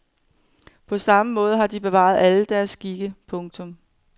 På samme måde har de bevaret alle deres skikke. punktum